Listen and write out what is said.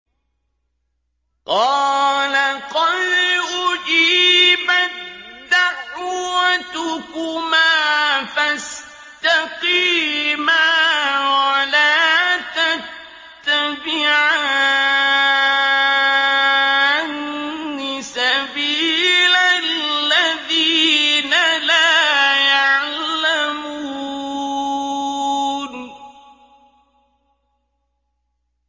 قَالَ قَدْ أُجِيبَت دَّعْوَتُكُمَا فَاسْتَقِيمَا وَلَا تَتَّبِعَانِّ سَبِيلَ الَّذِينَ لَا يَعْلَمُونَ